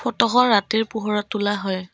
Photo খন ৰাতিৰ পোহৰত তোলা হয়।